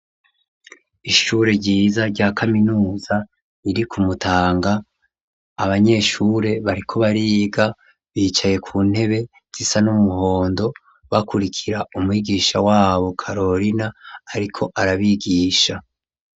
Ishure ryiza, rya kaminuza, riri ku Mutanga, abanyeshure bariko bariga, bicaye ku ntebe zisa n'umuhondo, bakurikira umwigisha wabo, karorina, ariko arabigisha.